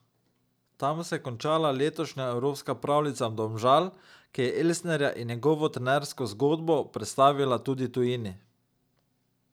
Tam se je končala letošnja evropska pravljica Domžal, ki je Elsnerja in njegovo trenersko zgodbo predstavila tudi tujini.